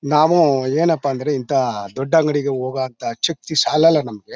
ನಾವು ಏನಪ್ಪಾ ಅಂದ್ರೆ ಇಂತ ದೊಡ್ಡ ಅಂಗಡಿಗೆ ಹೋಗೋಹಂತ ಶಕ್ತಿ ಸಾಲಲ್ಲ ನಮ್ಗೆ.